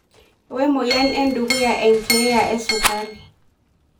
Wemoyian edukuya enkeya esukari.